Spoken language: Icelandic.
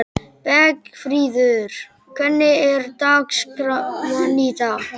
Bergfríður, hvernig er dagskráin í dag?